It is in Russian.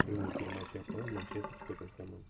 прямой эфир матча апл манчестер с тоттенхэмом